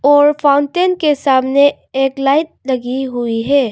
और फाउंटेन के सामने एक लाइट लगी हुई है।